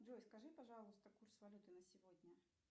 джой скажи пожалуйста курс валюты на сегодня